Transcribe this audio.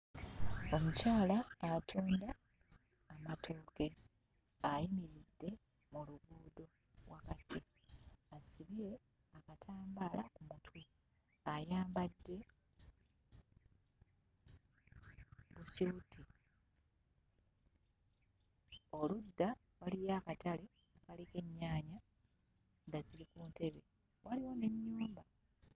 Omukyala atunda amatooke, ayimiridde mu luguudo wakati, asibye akatambaala ku mutwe, ayambadde busuuti. Oludda waliyo akatale akaliko ennyaanya nga ziri ku ntebe; waliwo n'ennyumba.